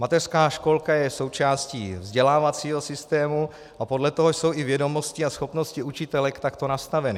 Mateřská školka je součástí vzdělávacího systému a podle toho jsou i vědomosti a schopnosti učitelek takto nastaveny.